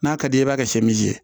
N'a ka d'i ye i b'a kɛ